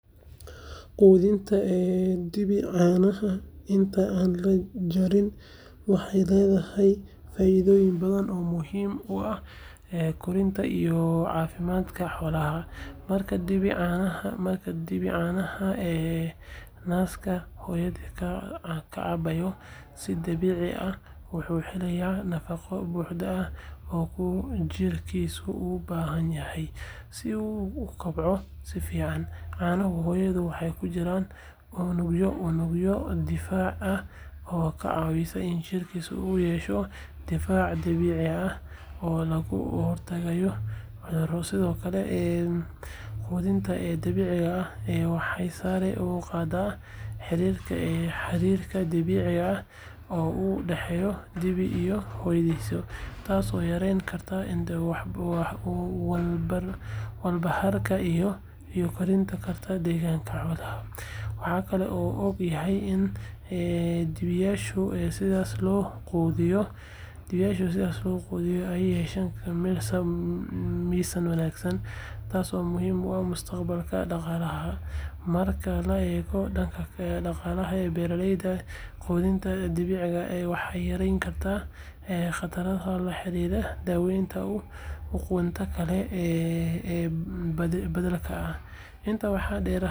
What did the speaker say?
Quudinta dibi caanaha inta aan la jarin waxay leedahay faa’iidooyin badan oo muhiim u ah korriimada iyo caafimaadka xoolaha. Marka dibi caanaha naaska hooyadii ka cabbo si dabiici ah, wuxuu helayaa nafaqo buuxda oo uu jirkiisu u baahan yahay si uu u kobco si fiican. Caanaha hooyada waxaa ku jira unugyo difaac ah oo kaa caawinaya in jirkiisa uu yeesho difaac dabiici ah oo looga hortago cudurrada. Sidoo kale, quudinta dabiiciga ah waxay sare u qaaddaa xiriirka dabiiciga ah ee u dhexeeya dibi iyo hooyadiis, taasoo yarayn karta walbahaarka iyo kordhin karta degganaanta xoolaha. Waxaa kaloo la og yahay in dibiyaasha sidaas loo quudiyo ay yeeshaan miisaan wanaagsan, taasoo muhiim u ah mustaqbalkooda dhaqaalaha. Marka la eego dhanka dhaqaalaha beeraleyda, quudinta dabiiciga ah waxay yarayn kartaa kharashaadka la xiriira daaweynta iyo quudinta kale ee beddelka ah. Intaa waxaa dheer, habkan wuxuu kor u qaadaa caafimaadka guud ee xoolaha, taasoo si toos ah ugu keenta wax-soo-saar sare iyo dibi tayo leh. Faa’iidooyinkan oo dhan waxay muujinayaan muhiimada ay leedahay in dibi caanaha lagu quudiyo si dabiici ah inta aan la jarin.